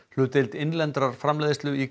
hlutdeild innlendrar framleiðslu í